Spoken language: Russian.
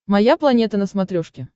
моя планета на смотрешке